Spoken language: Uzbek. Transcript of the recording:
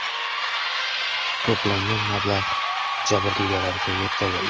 To‘plangan mablag‘ jabrdiydalarga yetkazildi.